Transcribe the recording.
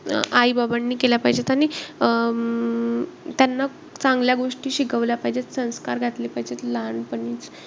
अं आई-बाबांनी केल्या पाहिजेत. आणि अं त्यांना चांगल्या गोष्टी शिकवल्या पाहिजेत. संस्कार घातले पाहिजेत लहानपणीचं.